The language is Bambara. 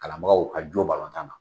Kalanbagaw ka jo tan na.